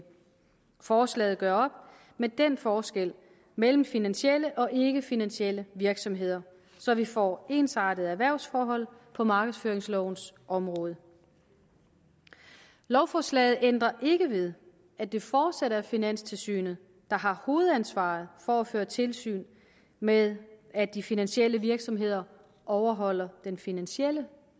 forslaget gør op med den forskel mellem finansielle og ikkefinansielle virksomheder så vi får ensartede erhvervsforhold på markedsføringslovens område lovforslaget ændrer ikke ved at det fortsat er finanstilsynet der har hovedansvaret for at føre tilsyn med at de finansielle virksomheder overholder den finansielle